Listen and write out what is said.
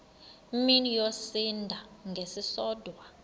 mini yosinda ngesisodwa